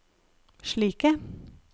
slike